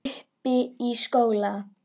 Uppi í skóla?